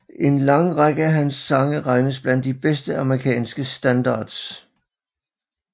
En lang række af hans sange regnes blandt de bedste amerikanske standards